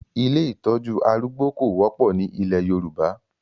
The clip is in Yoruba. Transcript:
Ilé ìtọ́jú arúgbó kò wọ́pọ̀ ni ilẹ̀ Yorùbá.